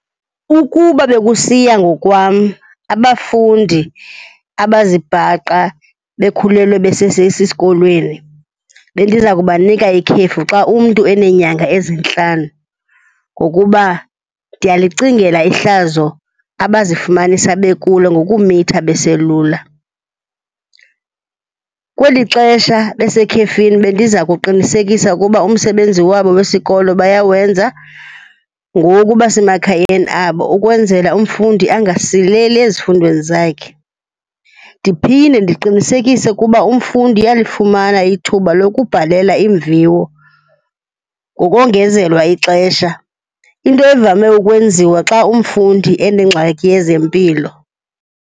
Ukuba bekusiya ngokwam, abafundi abazibhaqa bekhulelwe besesesikolweni, bendiza kubanika ikhefu xa umntu eneenyanga ezintlanu ngokuba ndiyalicingela ihlazo abazifumanisa bekulo ngokumitha beselula. Kweli xesha besekhefini, bendiza kuqinisekisa ukuba umsebenzi wabo wesikolo bayawenza ngoku basemakhayeni abo ukwenzela umfundi angasileli ezifundweni zakhe. Ndiphinde ndiqinisekise ukuba umfundi uyalifumana ithuba lokubhalela iimviwo ngokongezelwa ixesha, into evame ukwenziwa xa umfundi enengxaki yezempilo.